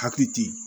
Hakili te